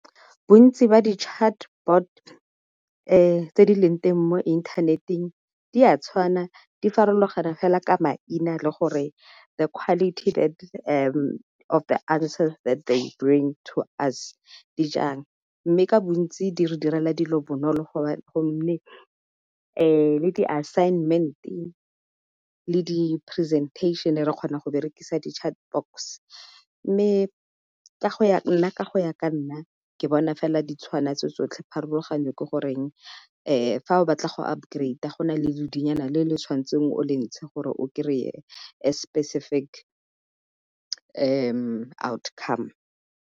Bontsi ba di chatbot tse di leng teng mo inthaneteng di a tshwanna di farologaneng fela ka maina le gore the quality that of the answer that they bring to us di jang, mme ka bontsi di re direla dilo bonolo go mme le di-assignment-e le di-presentation re kgona go berekisa di chat box. Mme nna ka go ya ka nna ke bona fela di tshwana tso-tsotlhe pharologanyo ke goreng fa o batla go upgrade-a go na le lodinyana le le tshwantseng o le ntshe gore o kry-e a specific outcome.